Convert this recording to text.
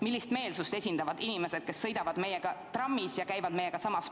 Millist meelsust esindavad inimesed, kes sõidavad meie kõrval trammis ja käivad meiega samas poes.